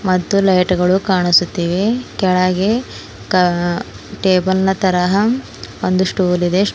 ಮತ್ತು ಲೈಟ್ ಗಳು ಕಾಣಿಸುತ್ತಿವೆ ಕೆಳಗೆ ಕಾ ಟೇಬಲ್ ನ ತರಹ ಒಂದು ಸ್ಟೂಲ್ ಇದೆ.